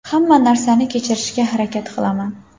Hamma narsani kechirishga harakat qilaman.